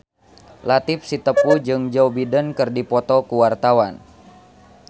Latief Sitepu jeung Joe Biden keur dipoto ku wartawan